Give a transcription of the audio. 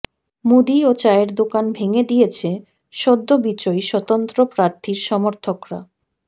মুদি ও চায়ের দোকান ভেঙে দিয়েছে সদ্য বিজয়ী স্বতন্ত্র প্রার্থীর সমর্থকরা